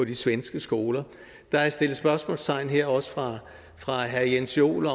de svenske skoler der er sat spørgsmålstegn her også af herre jens joel